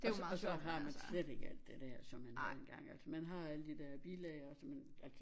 Og så og så har man slet ikke alt det dér som man havde engang altså har alle de der bilag og sådan noget